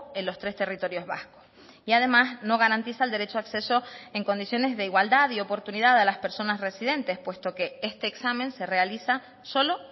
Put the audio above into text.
en los tres territorios vascos y además no garantiza el derecho a acceso en condiciones de igualdad y oportunidad a las personas residentes puesto que este examen se realiza solo